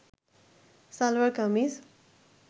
salwar kameez